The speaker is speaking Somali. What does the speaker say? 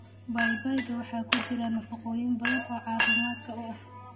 Babayga waxaa ku jira nafaqooyin badan oo caafimaadka u ah.